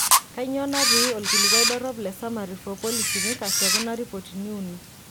Kainyoo natii olkilikuai dorop le Summary for Policymakers tekuna ripotini uni?